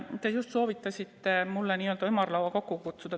Te just soovitasite mul n-ö ümarlaua kokku kutsuda.